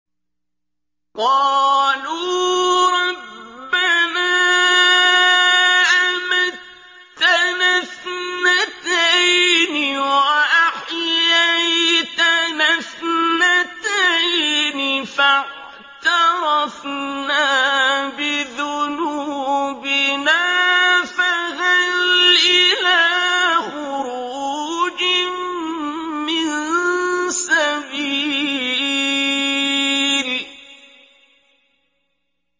قَالُوا رَبَّنَا أَمَتَّنَا اثْنَتَيْنِ وَأَحْيَيْتَنَا اثْنَتَيْنِ فَاعْتَرَفْنَا بِذُنُوبِنَا فَهَلْ إِلَىٰ خُرُوجٍ مِّن سَبِيلٍ